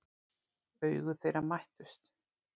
Augu þeirra mættust.